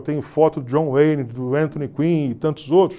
Eu tenho foto do John Wayne, do Anthony Quinn e tantos outros.